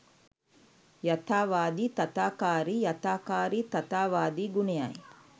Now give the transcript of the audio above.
යථාවාදි තථාකාරි යථාකාරි තථාවාදි ගුණයයි.